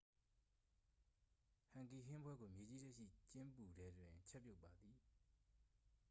ဟန်ဂီဟင်းပွဲကို မြေကြီးထဲရှိကျင်းပူထဲတွင် ချက်ပြုတ်ပါသည်